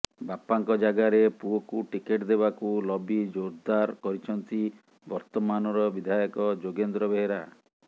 ବାପାଙ୍କ ଯାଗାରେ ପୁଅକୁ ଟିକେଟ୍ ଦେବାକୁ ଲବି ଜୋର୍ଦାର କରିଛନ୍ତି ବର୍ତ୍ତମାନର ବିଧାୟକ ଯୋଗେନ୍ଦ୍ର ବେହେରା